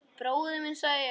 Bróðir minn, sagði ég.